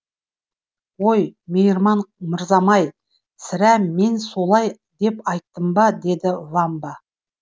ой мейірман мырзам ай сірә мен солай деп айттым ба деді вамба